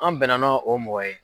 An bɛ na na o mɔgɔ ye.